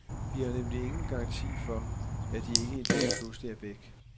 Vi har nemlig ingen garanti for, at de ikke en dag pludselig er væk.